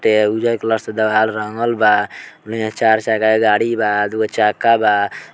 ते उजर कलर से रंगल बा यहाँ चार चक्का गाड़ी बा दूगो चक्का बा ।